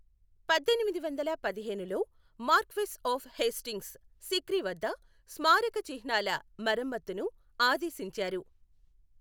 పద్దెనిమిది వందల పదిహేనులో మార్క్వెస్ ఆఫ్ హేస్టింగ్స్ సిక్రీ వద్ద స్మారక చిహ్నాల మరమ్మత్తును ఆదేశించారు.